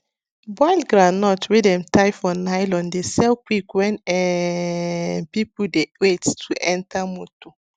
boiled groundnut wey dem tie for nylon dey sell quick when um people dey wait to enter motor